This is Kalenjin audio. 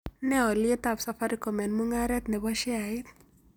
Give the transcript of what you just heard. Ne olyietab safaricom eng' mung'aret nebo sheaiit